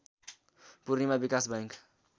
Purnima Vikas bank